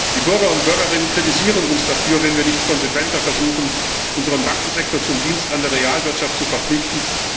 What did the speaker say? Die Bürger und Bürgerinnen kritisieren uns dafür, wenn wir nicht konsequenter versuchen, unseren Bankensektor zum Dienst an der Realwirtschaft zu verpflichten.